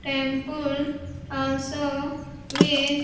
Temple also with--